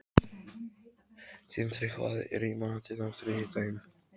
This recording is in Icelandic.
Tindri, hvað er í matinn á þriðjudaginn?